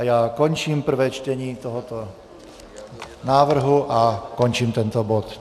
A já končím prvé čtení tohoto návrhu a končím tento bod.